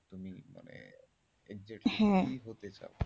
তুমি মানে exact কি হতে চাও? হ্যাঁ